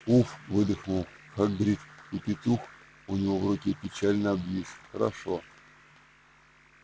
уф выдохнул хагрид и петух у него в руке печально обвис хорошо